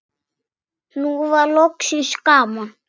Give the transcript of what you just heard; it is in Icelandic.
Nú var loksins gaman.